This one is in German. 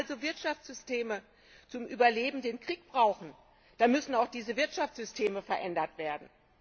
Wenn nun also Wirtschaftssysteme zum Überleben den Krieg brauchen, dann müssen auch diese Wirtschaftssysteme verändert werden.